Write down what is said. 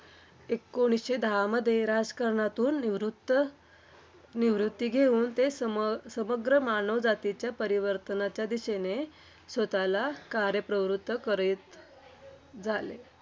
एकोणीसशे दहामध्ये राजकारणातून निवृत्त निवृत्ती घेऊन, ते सम समग्र मानव जातीच्या परिवर्तनाच्या दिशेने स्वतःला कार्यप्रवृत्त करते झाले.